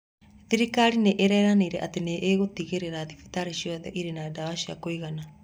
Thirikari nĩ ĩranĩire atĩ nĩ ĩgutigĩrĩra thibitarĩ ciothe ĩrĩ na dawa cia kuigana